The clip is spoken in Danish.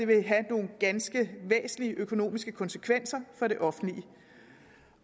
vil have nogle ganske væsentlige økonomiske konsekvenser for det offentlige